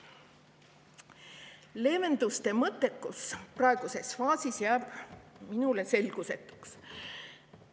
leevenduste mõttekus praeguses faasis jääb minule selgusetuks.